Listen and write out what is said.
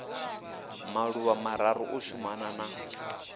maḓuvha mararu u shumana na